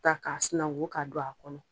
Ta k'a sinako k'a don a kɔnɔ